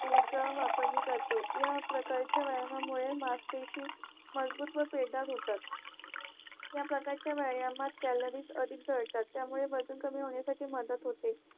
ऊर्जा वापरनी करते या प्रकारच्या व्यायामामुळे मजपेशी मजबूत व पेटदारहोतात या प्रकारच्या व्यायामात कॅलरीज अधिक जळतात त्यामुळे वजन कमी होण्यास त्याची मदत होते